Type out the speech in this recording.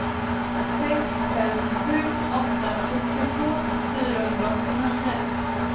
sex fem sju åtta sextiotvå fyrahundraåttionio